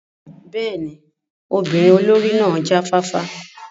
Bẹ́ẹ̀ni, ọmọbirin olori náa ja fafa.